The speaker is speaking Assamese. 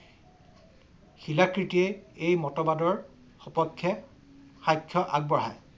শিলাকৃটিৰ এই মতবাদৰ সপক্ষে সাক্ষ্য আগবঢ়ায়